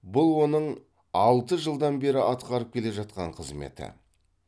бұл оның алты жылдан бері атқарып келе жатқан қызметі